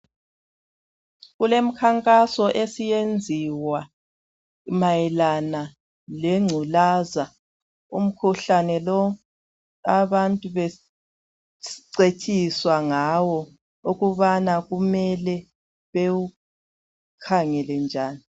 Kulemkhankaso esiyenziwa mayelana lengculaza. Umkhuhlane lo abantu becetshiswa ngawo ukubana kumele bewukhangele njani.